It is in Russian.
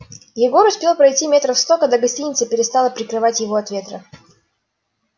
егор успел пройти метров сто когда гостиница перестала прикрывать его от ветра